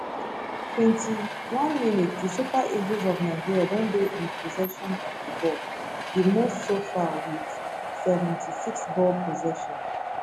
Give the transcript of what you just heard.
twenty one mins di super eagles of nigeria don dey in possession of di ball di most so far wit seventy six ball possession